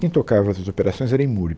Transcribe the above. Quem tocava essas operações era em